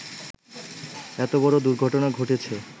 এত বড় দুর্ঘটনা ঘটেছে